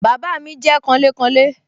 Bàbá mi jẹ́ kanlékanlé